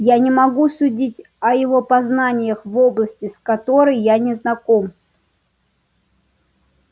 я не могу судить о его познаниях в области с которой я не знаком